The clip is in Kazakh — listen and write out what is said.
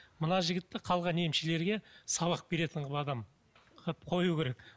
мына жігітті қалған емшілерге сабақ беретін адам қылып қою керек